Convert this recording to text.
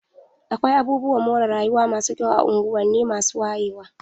Akwai abubuwan more rayuwa masu kyau a unguwanni masu wayewa.